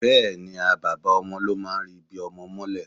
Bẹẹni, bàbá ọmọ ló máa ń ri ibí ọmọ mọ́lẹ̀.